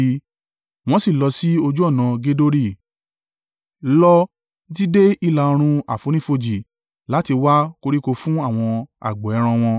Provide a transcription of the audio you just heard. wọ́n sì lọ sí ojú ọ̀nà Gedori. Lọ títí dé ìlà-oòrùn àfonífojì láti wá koríko fún àwọn agbo ẹran wọn.